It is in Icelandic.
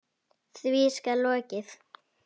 Því skal lokið.